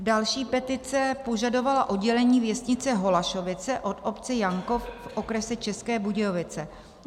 Další petice požadovala oddělení věznice Holašovice od obce Jankov v okrese České Budějovice.